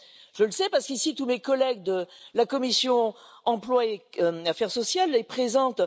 Je le sais, parce qu'ici tous mes collègues de la commission Emploi et affaires sociales sont présents.